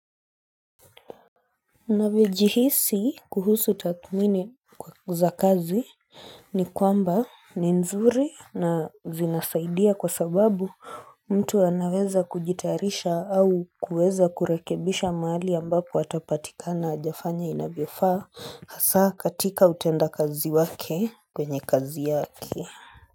Navyojihisi kuhusu tathmini za kazi ni kwamba ni nzuri na zinasaidia kwa sababu mtu anaweza kujitayarisha au kuweza kurekebisha mahali ambapo atapatika na hajafanya inavyofaa hasa katika utenda kazi wake kwenye kazi yaki.